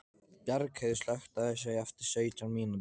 Bjargheiður, slökktu á þessu eftir sautján mínútur.